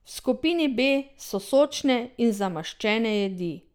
V skupini B so sočne in zamaščene jedi.